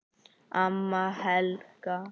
Amma Helga.